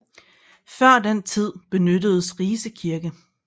Før den tid benyttedes Rise Kirke